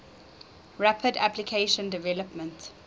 rapid application development